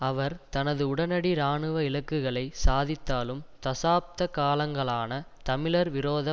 அவர் தனது உடனடி இராணுவ இலக்குகளை சாதித்தாலும் தசாப்த காலங்களான தமிழர் விரோத